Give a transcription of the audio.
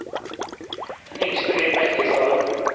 Den yngste blir den mektigste av dem.